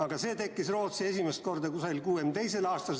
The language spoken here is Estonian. Aga Rootsi tekkis see umbes 1962. aastal.